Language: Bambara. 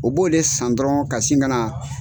O b'o le san dɔrɔn ka sin ka na